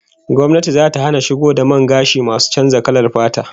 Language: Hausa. Gwamnati zata hana shigo da man gashi masu canza kalar fata